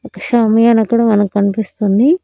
ఒక షామియానా అక్కడ మనకి కనిపిస్తుంది.